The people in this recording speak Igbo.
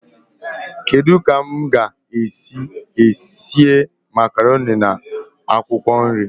Kedu ka m ga-esi síé makaroni na akwụkwọ nri?